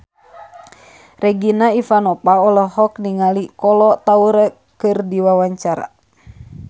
Regina Ivanova olohok ningali Kolo Taure keur diwawancara